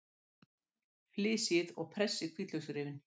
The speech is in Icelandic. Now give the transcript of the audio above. Flysjið og pressið hvítlauksrifin.